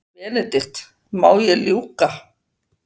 BENEDIKT: Má ég ljúka.